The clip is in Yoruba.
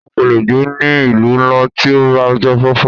O kò lè gbé ní ìlú ńlá tí ò bá jáfáfá.